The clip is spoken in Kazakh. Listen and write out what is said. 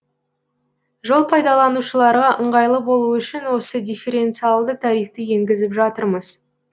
жол пайдаланушыларға ыңғайлы болуы үшін осы дифференциалды тарифті енгізіп жатырмыз